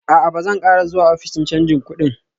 A'a, Ba zan ƙara zuwa ofishin canji kudin